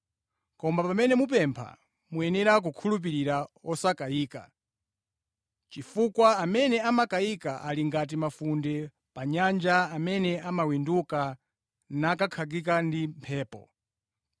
Koma pamene mupempha, muyenera kukhulupirira osakayika, chifukwa amene amakayika ali ngati mafunde pa nyanja amene amawinduka nakankhika ndi mphepo.